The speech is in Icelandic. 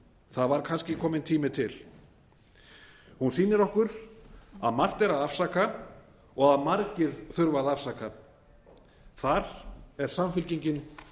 það var kannski kominn tími til hún sýnir okkur að margt er að afsaka og að margir þurfa að afsaka þar er samfylkingin